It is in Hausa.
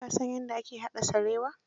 Ka san yadda ake haɗa sarewa?